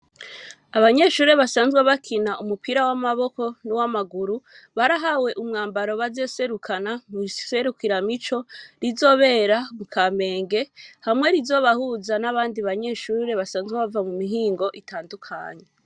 Abanyeshure, basanzwe bakina, umupira w'amaboko, n'uw'amaguru, barahawe umwambaro, bazoserukana, mw'iserukiramico, rizobera mu Kamenge, hamwe rizobahuza, n'abandi banyeshure, basanzwe bava, mu mihingo, itandukanye.